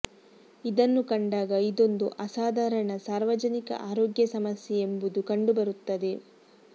ಇದನ್ನು ಕಂಡಾಗ ಇದೊಂದು ಅಸಾಧಾರಣ ಸಾರ್ವಜನಿಕ ಆರೋಗ್ಯ ಸಮಸ್ಯೆ ಎಂಬುದು ಕಂಡುಬರುತ್ತದೆ